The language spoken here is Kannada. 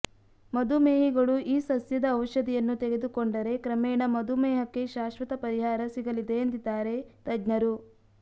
ಮಧುಮೇಹಿಗಳು ಈ ಸಸ್ಯದ ಔಷಧಿಯನ್ನು ತೆಗೆದುಕೊಂಡರೆ ಕ್ರಮೇಣ ಮಧುಮೇಹಕ್ಕೆ ಶಾಶ್ವತ ಪರಿಹಾರ ಸಿಗಲಿದೆ ಎಂದಿದ್ದಾರೆ ತಜ್ಞರು